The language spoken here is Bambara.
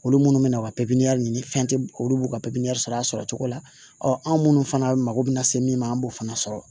Olu munnu bɛ na o ka pipiniyɛri ni fɛn tɛ olu b'u ka pipiniyɛri sɔrɔ a sɔrɔ cogo la ɔ anw minnu fana mako bɛ na se min ma an b'o fana sɔrɔ